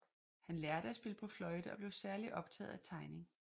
Han lærte at spille på fløjte og blev særligt optaget af tegning